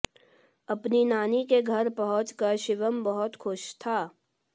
अपनी नानी के घर पहुंचकर शिवम बहुत खुश था